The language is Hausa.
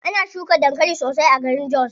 Ana shuka dankali sosai a garin jos.